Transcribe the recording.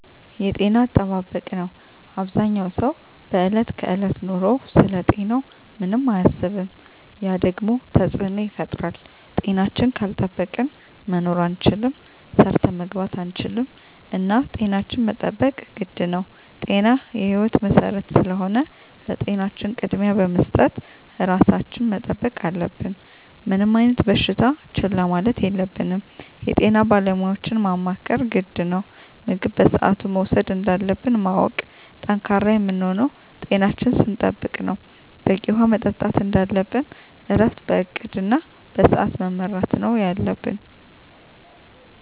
የጤና አጠባበቅ ነው አበዛኛው ሰው በዕለት ከዕለት ኑሮው ስለ ጤናው ምንም አያስብም ያ ደግሞ ተፅዕኖ ይፈጥራል። ጤናችን ካልጠበቅን መኖር አንችልም ሰርተን መግባት አንችልም እና ጤናችን መጠበቅ ግድ ነው ጤና የህይወት መሰረት ስለሆነ ለጤናችን ቅድሚያ በመስጠት ራሳችን መጠበቅ አለብን። ምንም አይነት በሽታ ችላ ማለት የለብንም የጤና ባለሙያዎችን ማማከር ግድ ነው። ምግብ በስአቱ መውሰድ እንዳለብን ማወቅ። ጠንካራ የምንሆነው ጤናችን ስንጠብቅ ነው በቂ ውሀ መጠጣት እንደለብን እረፍት በእቅድ እና በስዐት መመራት ነው የለብን